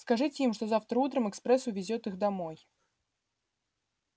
скажите им что завтра утром экспресс увезёт их домой